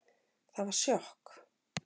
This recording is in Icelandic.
Það var sjokk